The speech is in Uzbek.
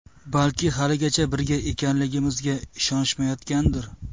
Balki haligacha birga ekanligimizga ishonishmayotgandir.